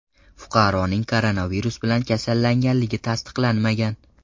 Fuqaroning koronavirus bilan kasallanganligi tasdiqlanmagan.